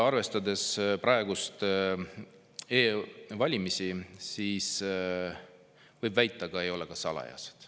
Arvestades praegusi e-valimisi, võib väita ka, ei valimised ole salajased.